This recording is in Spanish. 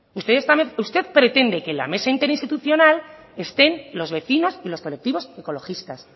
usted pretende que en la mesa interinstitucional estén los vecinos y los colectivos ecologistas